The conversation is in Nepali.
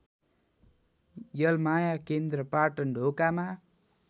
यलमाया केन्द्र पाटनढोकामा